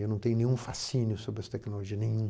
Eu não tenho nenhum fascínio sobre as tecnologias, nenhum.